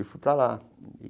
E fui para lá.